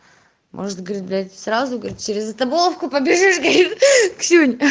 может говорить блядь сразу говорит через это блоку побежишь ксюнь